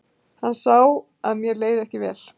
Hann sá að mér leið ekki vel.